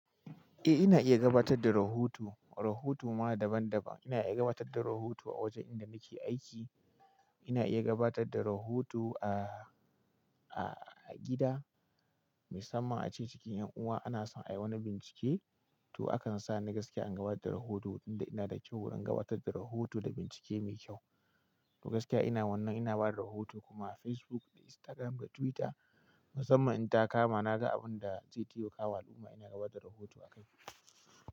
Eh ina iya gabatar da rahoto. Rahoto ma na daban daban. Ina iya gabatar da rahoto a wajen inda nake aiki, ina iya gabatar da rahoto a, a gida, musamman a cikin 'yan uwa ana son a yi wani bincike to akan sa ni gaskiya in gabatar da rahoto, inda ina da kyau wurin gabatar da rahoto da bincike mai kyau. To gaskiya ina wannan ina bada rahoto kuma a Facebook da Instagram da Twitter musamman in ta kama naga abun da zai temaka wa al'umma ina gabatar da rahoto akai.